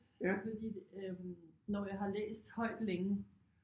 Fordi øh når jeg har læst højt længe